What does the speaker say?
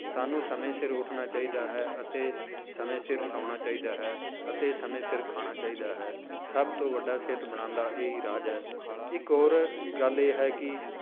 ਸਾਨੂੰ ਸਮੇਂ ਸਿਰ ਉੱਠਣਾ ਚਾਹੀਦਾ ਹੈ ਅਤੇ ਸਮੇਂ ਸਿਰ ਸੌਣਾ ਚਾਹੀਦਾ ਹੈ ਅਤੇ ਸਮੇਂ ਸਿਰ ਖਾਣਾ ਚਾਹੀਦਾ ਹੈ, ਸਭ ਤੋਂ ਵੱਡਾ ਸਿਹਤ ਬਣਾਉਣ ਦਾ ਇਹ ਹੀ ਰਾਜ ਹੈ ਇੱਕ ਹੋਰ ਗੱਲ ਇਹ ਹੈ ਕਿ